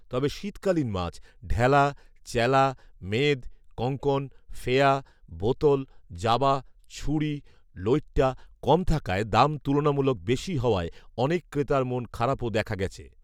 তবে শীতকালীন মাছ ঢেলা, চেলা, মেদ, কঙ্কন, ফেয়া, বোতল, জাবা, ছুড়ি লৈট্টা কম থাকায় দাম তুলনামূলক বেশি হওয়ায় অনেক ক্রেতার মন খারাপও দেখা গেছে